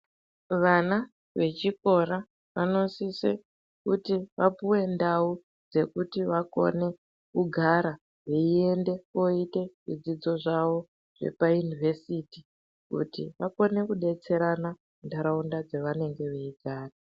Vana vechikora vanosise kuti vapuwe ndau dzekuti vakone kugara veiyende kooite zvidzidzo zvavo zvepayunivhesiti kuti vakone kudetserana ntaraunda dzavanonge veigara.